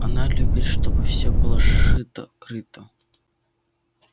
она любит чтобы всё было сшито-крыто